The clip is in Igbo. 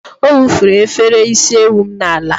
Ọ wụfuru efere isi ewu m n'ala.